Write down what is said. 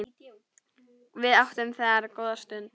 Við áttum þar góða stund.